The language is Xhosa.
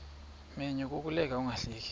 menyo kukuleka ungahleki